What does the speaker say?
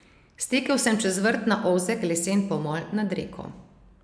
Stekel sem čez vrt na ozek lesen pomol nad reko.